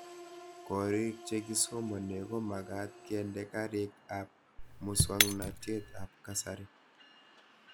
Korik che kisomane komagat kende karik ab muswognatet ab kasari